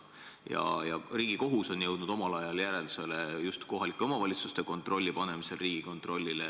Riigikohus on jõudnud omal ajal järeldusele, et kohalike omavalitsuste kontrolli võiks ehk panna Riigikontrollile.